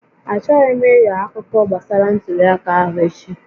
Achọghị m ịgha akụkọ gbasara ntuli aka ahụ echi